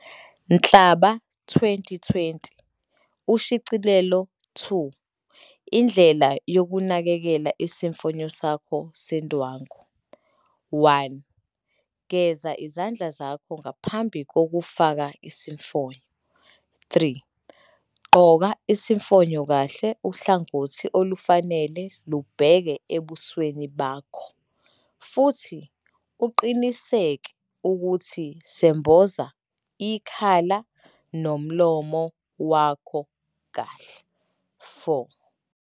Nhlaba 2020, Ushicilelo 2, Indlela yokunakekela isifonyo sakho sendwangu. 1. Geza izandla zakho ngaphambi kokufaka isifonyo. 3. Gqoka isifonyo kahle uhlangothi olufanele lubheke ebusweni bakho, futhi uqiniseke ukuthi semboza ikhala nomlomo wakho kahle. 4.